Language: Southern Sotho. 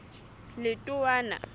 letowana